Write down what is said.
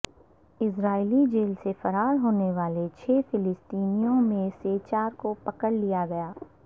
اسرائیلی جیل سے فرار ہونے والے چھ فلسطینوں میں سے چار کو پکڑ لیا گیا